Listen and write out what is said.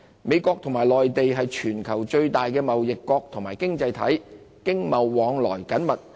美國和內地是全球最大的貿易國及經濟體，經貿往來緊密。